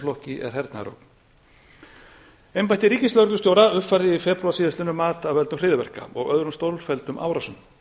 flokki er hernaðarráð embætti ríkislögreglustjóra uppfærði í febrúar síðastliðinum mat af völdum hryðjuverka og öðrum stórfelldum árásum